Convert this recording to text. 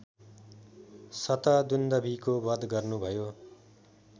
शतदुन्दभिको बध गर्नुभयो